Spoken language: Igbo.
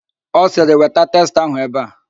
Ọ sịrị, weta testa ahụ ebe a!